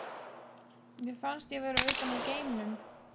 Mér fannst ég vera utan úr geimnum.